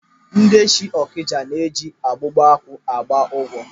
Ndị si Ọkịja na eji Ogwugwuakpu agba ụgwọ.